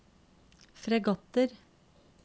fregatter